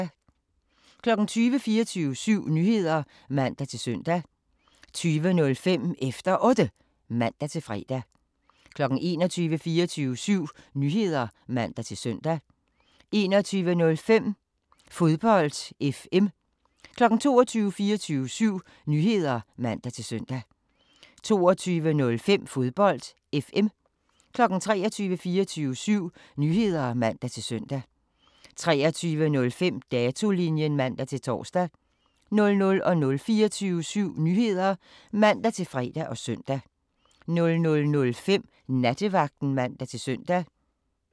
20:00: 24syv Nyheder (man-søn) 20:05: Efter Otte (man-fre) 21:00: 24syv Nyheder (man-søn) 21:05: Fodbold FM 22:00: 24syv Nyheder (man-søn) 22:05: Fodbold FM 23:00: 24syv Nyheder (man-søn) 23:05: Datolinjen (man-tor) 00:00: 24syv Nyheder (man-fre og søn) 00:05: Nattevagten (man-søn)